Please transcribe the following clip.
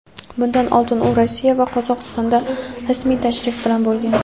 Bundan oldin u Rossiya va Qozog‘istonda rasmiy tashrif bilan bo‘lgan.